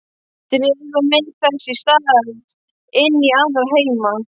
Dregur mig þess í stað inn í aðra heima.